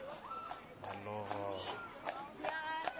malovola